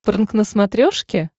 прнк на смотрешке